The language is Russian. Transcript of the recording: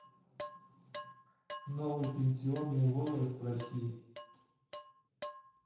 новый пенсионный возраст в россии